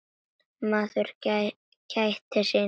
Maður gætir sín.